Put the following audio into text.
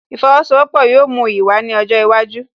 Ìfowósowọ́pọ̀ yóò mú iyì wá ní ọjọ́ iwájú